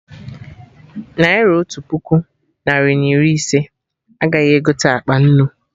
Naira Otu puku, narị na iri ise, agaghị egote akpa nnu